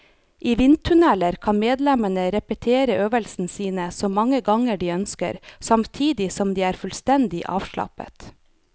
I vindtunnelen kan medlemmene repetere øvelsene sine så mange ganger de ønsker, samtidig som de er fullstendig avslappet.